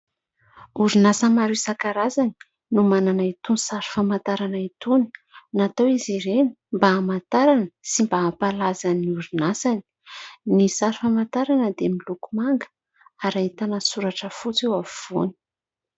Orinasa maro isankarazany no manana itony sary famantarana itony, natao izy ireny mba hamantarana sy mba hampalaza ny orinasany. Ny sary famantarana dia miloko manga ary ahitana soratra fotsy eo afovoany.